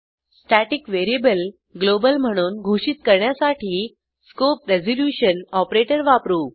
static variable global म्हणून घोषित करण्यासाठी स्कोप रेझोल्युशन ऑपरेटर वापरू